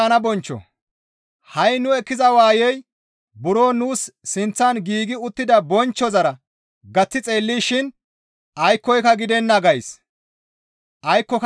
Ha7i nu ekkiza waayey buro nuus sinththan giigi uttida bonchchozara gaththi xeellishin aykkoka gidenna gays.